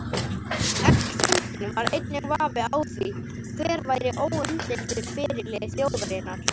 Eftir fundinn var enginn vafi á því hver væri óumdeildur fyrirliði þjóðarinnar.